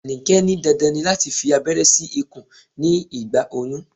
Anike ní dandan ni láti fi aberé sí ikùn ní ìgbà oyún.